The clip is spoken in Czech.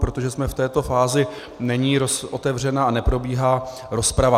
Protože jsme v této fázi, není otevřena a neprobíhá rozprava.